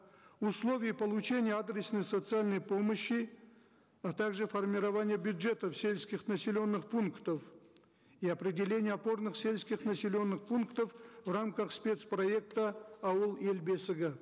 условий получения адресной социальной помощи а также формирование бюджетов сельских населенных пунктов и определение опорных сельских населенных пунктов в рамках спец проекта ауыл ел бесігі